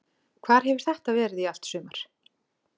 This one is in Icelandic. Hvar hefur þetta verið í allt sumar?